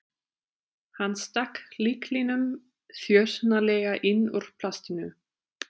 Hann stakk lyklinum þjösnalega inn úr plastinu.